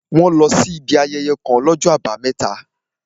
Wọ́n lọ sí ibi ayẹyẹ kàn l'ọ́jọ́ àbámẹ́ta